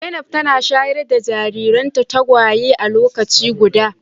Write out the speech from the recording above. Zainab tana shayar da jariran tagwayenta a lokaci guda.